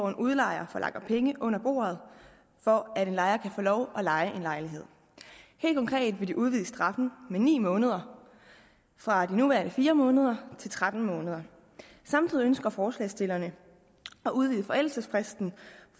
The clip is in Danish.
en udlejer forlanger penge under bordet for at en lejer kan få lov at leje en lejlighed helt konkret vil de udvide straffen med ni måneder fra de nuværende fire måneder til tretten måneder samtidig ønsker forslagsstillerne at udvide forældelsesfristen